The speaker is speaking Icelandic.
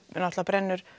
brennir